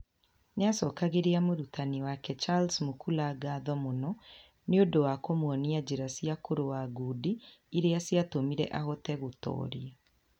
Nĩ acokagĩria mũrutani wake Charles Mukula ngatho mũno nĩ ũndũ wa kũmuonia njĩra cia kũrũa ngundi iria ciatũmire ahote gũtooria.